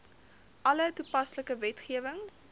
alle toepaslike wetgewing